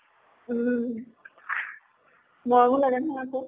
উম। মৰমো লাগে নহয় আকৌ।